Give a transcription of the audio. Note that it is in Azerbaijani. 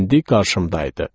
İndi qarşımdaydı.